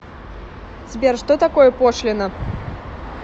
сбер что такое пошлина